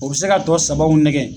O be se ka tɔ sabaw nɛgɛ